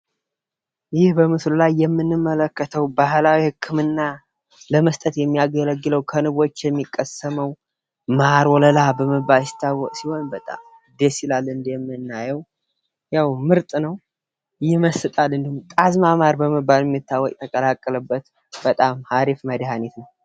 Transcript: ይህ በምስሉ ላይ የምንመለከተው ባህላዊ ህክምና ለመስጠት የሚያገለግል ከንብ የሚቀሰመው ማር ወለላ በመባል ይታወቃል ።ይህ ደስ ይላል እንደምናየው ያው ምርጥ ነው። ይመስጣል። ጣዝማ ማር ምንለው የተቀላቀለበት በጣም አሪፍ መድሀኒት ነው።